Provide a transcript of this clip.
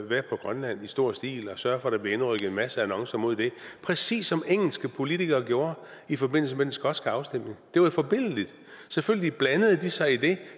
være på grønland i stor stil og sørge for at der bliver indrykket en masse annoncer mod den præcis som engelske politikere gjorde i forbindelse med den skotske afstemning det var forbilledligt selvfølgelig blandede de sig i det